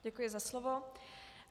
Děkuji za slovo.